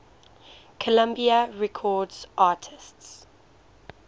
columbia records artists